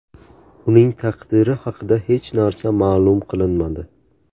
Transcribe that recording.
Uning taqdiri haqida hech narsa ma’lum qilinmadi.